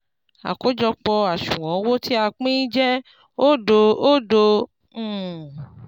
àkójọpọ̀ àṣùwọ̀n owó tí a pín jẹ́ òdo òdo um